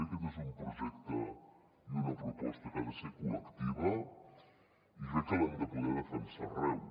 aquest és un projecte i una proposta que han de ser col·lectius i crec que els hem de poder defensar arreu